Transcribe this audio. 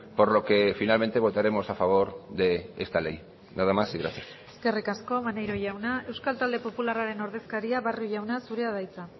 por lo que finalmente votaremos a favor de esta ley nada más y gracias eskerrik asko maneiro jauna euskal talde popularraren ordezkaria barrio jauna zurea da hitza